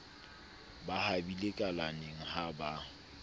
ba habile kalaneng ha ba